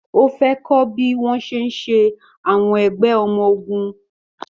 Ó fẹ́ kọ́ bí wọ́n ṣe ń ṣe àwọn ẹgbẹ́ ọmọ ogun.